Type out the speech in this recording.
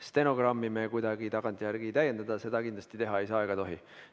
Stenogrammi me kuidagi tagantjärele ei täienda, seda kindlasti teha ei saa ega tohi.